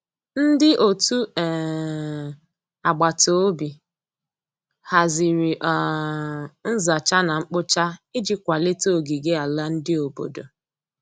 Ndi ọtụ um agbatobi hazịrị um nza cha na nkpo cha iji kwalite ogige ala ndi obodo